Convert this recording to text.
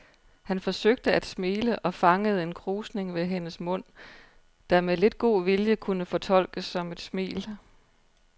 Han forsøgte at smile og fangede en krusning ved hendes mund, der med lidt god vilje kunne fortolkes som et smil.